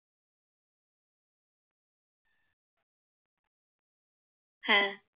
হ্যাঁ